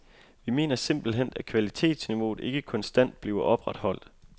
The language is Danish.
Vi mener simpelthen, at kvalitetsniveauet ikke konstant bliver opretholdt.